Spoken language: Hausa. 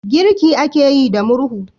Girki ake yi da murhu